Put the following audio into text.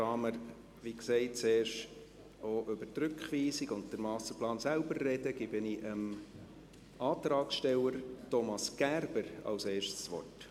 Da wir, wie gesagt, zuerst auch über die Rückweisung und den Masterplan selbst sprechen, gebe ich zuerst dem Antragsteller Thomas Gerber das Wort.